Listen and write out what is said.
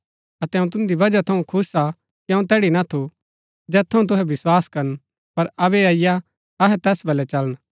अतै अऊँ तुन्दी बजह थऊँ खुश हा कि अऊँ तैड़ी ना थू जैत थऊँ तुहै विस्वास करन पर अबै अईआ अहै तैस बलै चलन